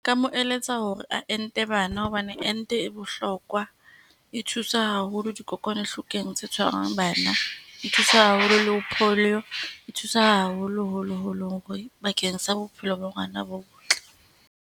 Nka mo eletsa hore a ente bana, hobane ente e bohlokwa. E thusa haholo dikokwanahlokong tse tshwarang bana. E thusa haholo le ho polio, e thusa haholo holoholo hore bakeng sa bophelo ba ngwana bo botle.